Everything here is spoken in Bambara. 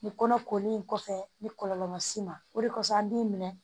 Nin kɔnɔ kolen in kɔfɛ ni kɔlɔlɔ ma s'i ma o de kosɔn an b'i minɛ